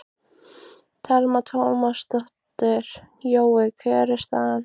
Telma Tómasson: Jói, hver er staðan?